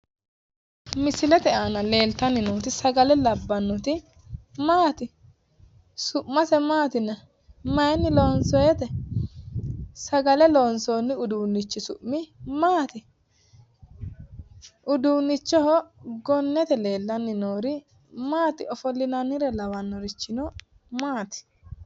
misilete aana leeltanni nooti sagale labbannoti maati? su'mase maati yinanni? mayiinni loonsoonite? sagale loonsoonni uduunnichi su'mi maati? uduunnichoho gonnete leellanni noohu maati ofollinanniricho lawannohuno maati?